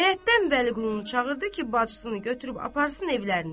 Həyətdən Vəliqulunu çağırdı ki, bacısını götürüb aparsın evlərinə.